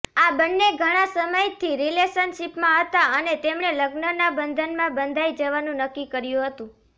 આ બંને ઘણા સમયથી રિલેશનશીપમાં હતા અને તેમણે લગ્નના બંધનમાં બંધાઈ જવાનું નક્કી કર્યું હતું